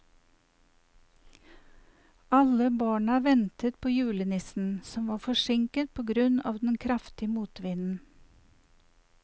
Alle barna ventet på julenissen, som var forsinket på grunn av den kraftige motvinden.